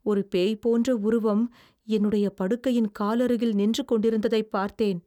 ஒரு பேய் போன்ற உருவம் என்னுடைய படுக்கையின் காலருகில் நின்று கொண்டிருந்ததைப் பார்த்தேன்.